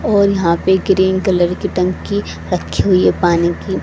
और यहां पे ग्रीन कलर की टंकी रखी हुई है पानी की।